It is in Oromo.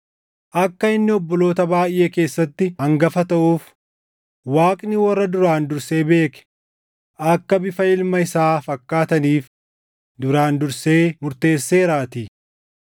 Akka inni obboloota baayʼee keessatti hangafa taʼuuf Waaqni warra duraan dursee beeke akka bifa ilma isaa fakkaataniif duraan dursee murteesseeraatii.